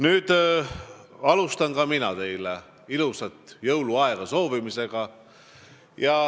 Ka mina alustan teile ilusa jõuluaja soovimisega.